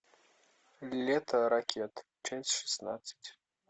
лето ракет ччасть шестнадцать